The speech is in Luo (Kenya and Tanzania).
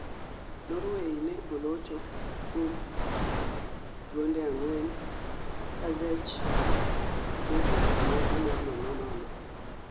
Norway ne olocho kuom gonde ang'wen ka Czech nowuok amodhi mar nono nono